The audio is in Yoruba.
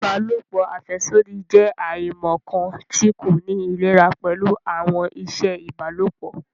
Ìbálòpọ̀ afẹsodi jẹ aimọkan ti ko ni ilera pẹlu awọn iṣẹ ìbálòpọ̀